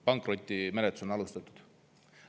Pankrotimenetlus on alustatud.